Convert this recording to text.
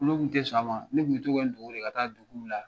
Ni ne tun tɛ sɔn a ma , ne tun bɛ n dogo de ka taa duguw de la